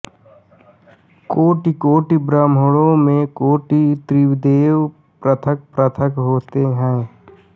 कोटिकोटि ब्रह्माण्डों में कोटि त्रिदेव पृथकपृथक होते हैं